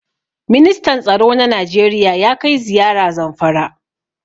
Ministan tsaro na Najeriya ya kai ziyara Zamfara.